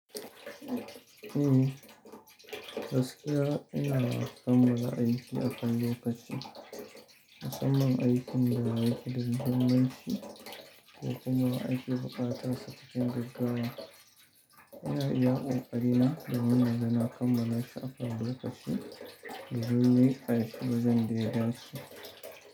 Eh gaskiya ina kammala aiki akan lokaci musamman aikin da yake da muhimmanci ko aikin da akeso ayi shi cikin gaggawa ina iya ƙoƙari na domin inga na kammala shi akan lokaci domin a yi wajen daidansu.